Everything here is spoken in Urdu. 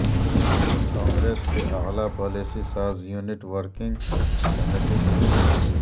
کانگریس کی اعلی پالیسی ساز یونٹ ورکنگ کمیٹی کی میٹنگ